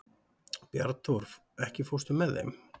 Bjarnþór, ekki fórstu með þeim?